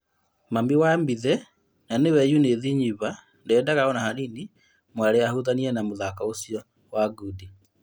Mami wa Mbithe na nĩwe Yunĩthi Ziva ndendaga ona hanini mwarĩ ahutania na mũthako ũcio wa ngundi.